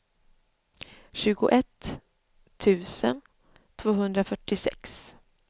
tjugoett tusen tvåhundrafyrtiosex